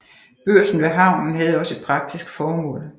Børsen ved havnen havde også et praktisk formål